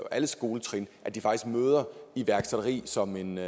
alle skoletrin møder iværksætteri som en